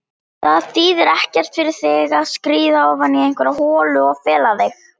Það þýðir ekkert fyrir þig að skríða ofan í einhverja holu og fela þig.